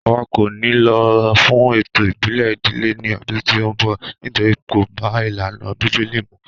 Àwa kò ni lọ fún ètò ìbílè ìdílé ní ọdún tí o nbọ nítorí kò bá ìlànà bíbélì mu